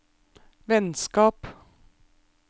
vennskap